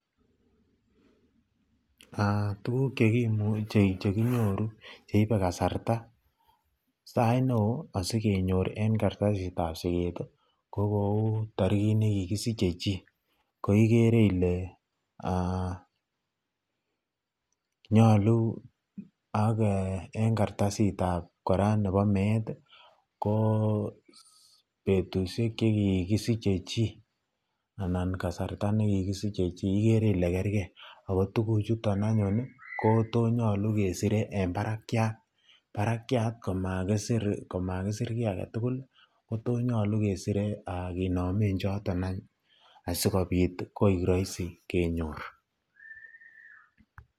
Tuguk cheimuche kenyor cheibe kasarta, sait neon sigenyor en kartasit ab sikis kokou tarikit nikikisiche chi koagere Kole nyalu en kartasit ab koraa ab met ko betushek chekikisiche chi anan kasarta nikikisiche chi igere Kole kergei akigere Kole tuguk Chuton anyun ko this nyalu kesire en Barak ako barakiat komakisir ki agetugul konyalu kesire kenamen choton anyun asikobit koirahisi kenyor